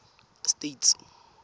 states